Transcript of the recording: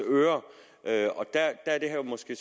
ører og der er det her måske